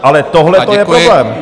Ale tohle to je problém!